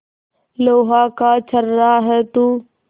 लोहा का छर्रा है तू